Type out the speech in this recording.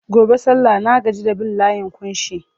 Gobe sallah na gaji da bin layin ƙunshi.